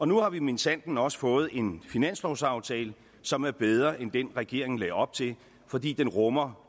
nu har vi minsandten også fået en finanslovsaftale som er bedre end den regeringen lagde op til fordi den rummer